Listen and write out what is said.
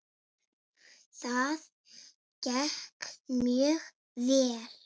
Það gekk mjög vel.